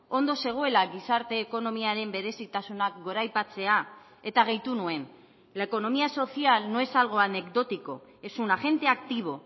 ondo zegoela gizarte ekonomiaren berezitasunak goraipatzea eta gehitu nuen la economía social no es algo anecdótico es un agente activo